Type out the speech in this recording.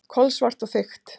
Kolsvart og þykkt.